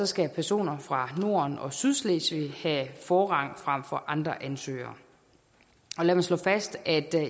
skal personer fra norden og sydslesvig have forrang frem for andre ansøgere lad mig slå fast at